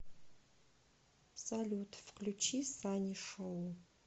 салют включи санишоу